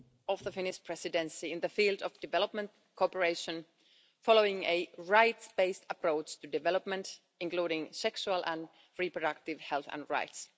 of the Finnish Presidency in the field of development cooperation, following a rights based approach to development including sexual and reproductive health and rights.